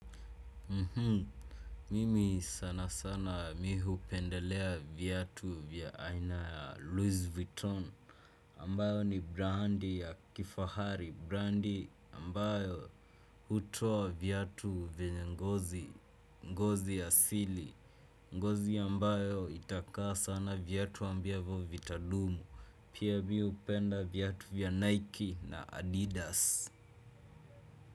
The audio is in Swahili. Mimi sana sana mi hupendelea viatu vya aina ya Louis Vuitton ambayo ni brandi ya kifahari, brandi ambayo hutoa vyatu vyenye ngozi, ngozi asili, ngozi ambayo itakaa sana vyatu ambavyo vitadumu, pia mi hupenda viatu vya Nike na Adidas.